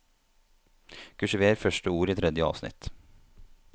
Kursiver første ord i tredje avsnitt